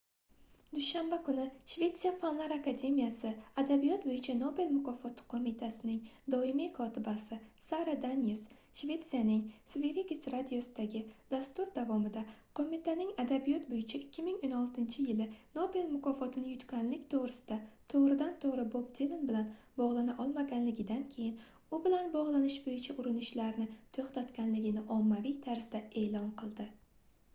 dushanba kuni shvetsiya fanlar akademiyasi adabiyot boʻyicha nobel mukofoti qoʻmitasining doimiy kotibasi sara danius shetsiyaning sveriges radiosidagi dastur davomida qoʻmitaning adabiyot boʻyicha 2016-yili nobel mukofotini yutganlik toʻgʻrisida toʻgʻridan-toʻgʻri bob dilan bilan bogʻlana olmagandan keyin u bilan bogʻlanish boʻyicha urinishlarini toʻxtatganligini ommaviy tarzda eʼlon qildi